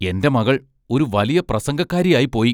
എന്റെ മകൾ ഒരു വലിയ പ്രസംഗക്കാരിയായി പോയി.